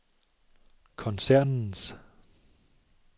koncernens